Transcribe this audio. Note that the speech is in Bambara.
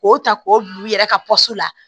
K'o ta k'o bila u yɛrɛ ka la